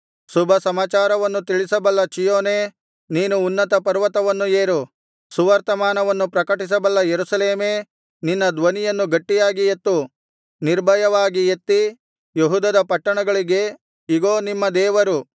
ಶುಭಸಮಾಚಾರವನ್ನು ತಿಳಿಸಬಲ್ಲ ಚೀಯೋನೇ ನೀನು ಉನ್ನತಪರ್ವತವನ್ನು ಏರು ಸುವರ್ತಮಾನವನ್ನು ಪ್ರಕಟಿಸಬಲ್ಲ ಯೆರೂಸಲೇಮೇ ನಿನ್ನ ಧ್ವನಿಯನ್ನು ಗಟ್ಟಿಯಾಗಿ ಎತ್ತು ನಿರ್ಭಯವಾಗಿ ಎತ್ತಿ ಯೆಹೂದದ ಪಟ್ಟಣಗಳಿಗೆ ಇಗೋ ನಿಮ್ಮ ದೇವರು